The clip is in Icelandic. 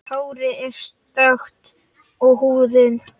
Hárið er stökkt og húðin.